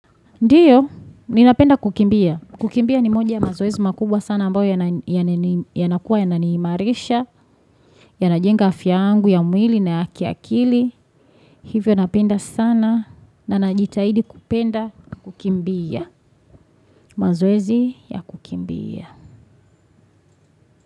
Ndiyo, ninapenda kukimbia. Kukimbia ni moja ya mazoezi makubwa sana ambayo yanakuwa yananiimarisha, yanajenga afya yangu, ya mwili, na ya kiakili. Hivyo napenda sana na najitahidi kupenda kukimbia. Mazoezi ya kukimbia.